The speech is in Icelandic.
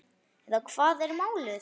Eða hvað er málið?